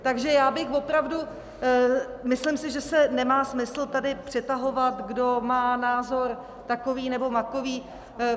Takže já bych opravdu, myslím si, že se nemá smysl tady přetahovat, kdo má názor takový nebo makový.